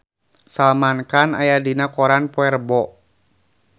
Salman Khan aya dina koran poe Rebo